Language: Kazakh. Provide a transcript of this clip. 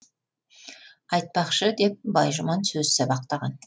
айтпақшы деп байжұман сөз сабақтаған